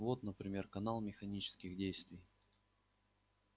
вот например канал механических действий